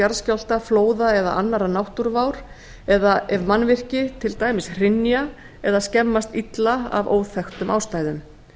jarðskjálfta flóða eða annarrar náttúruvár eða ef mannvirki til dæmis hrynja eða skemmast illa af óþekktum ástæðum